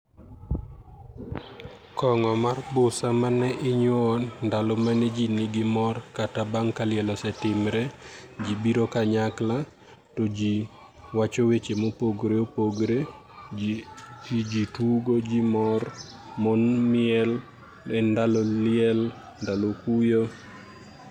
kong'o mar busa mane ndalo mane ji nigi mor kata bang' ka liel, osetimre ji biro kanyakla to ji wacho weche mopogore opogore jii tugo , jii mor, mon miel, en ndalo liel, ndalo kuyo